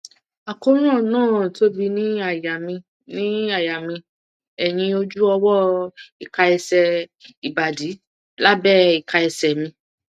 àkóràn náà tóbi ní àyà mi ní àyà mi ẹyìn ojú ọwọ ika ẹsẹ ìbàdí lábẹ ìka ẹsẹ mi